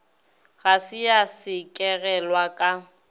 ga se ya sekegelwa ka